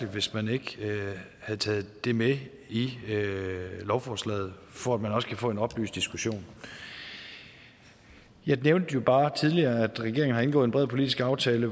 hvis man ikke havde taget det med i lovforslaget for at man også kunne få en oplyst diskussion jeg nævnte bare tidligere at regeringen har indgået en bred politisk aftale